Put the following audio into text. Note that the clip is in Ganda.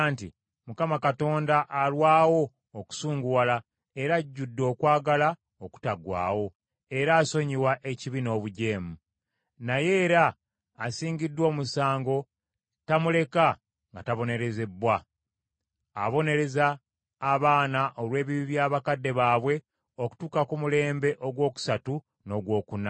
‘ Mukama Katonda alwawo okusunguwala, era ajjudde okwagala okutaggwaawo, era asonyiwa ekibi n’obujeemu. Naye era asingiddwa omusango tamuleka nga tabonerezebbwa; abonereza abaana olw’ebibi bya bakadde baabwe okutuuka ku mulembe ogwokusatu n’ogwokuna.’